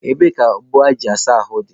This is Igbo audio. Ebee ka ogbo eji asa ahụ dị?